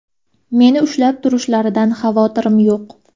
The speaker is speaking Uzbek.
Meni ushlab turishlaridan xavotirim yo‘q.